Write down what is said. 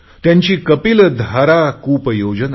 त्यांची कपिलधारा कूपयोजना